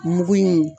Mugu in